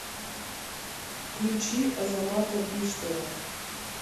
включи азамата биштова